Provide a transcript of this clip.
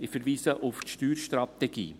Ich verweise auf die Steuerstrategie.